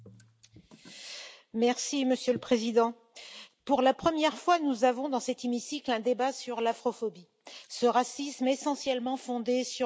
Monsieur le Président, pour la première fois, nous avons, dans cet hémicycle, un débat sur l'afrophobie, ce racisme essentiellement fondé sur la couleur de la peau.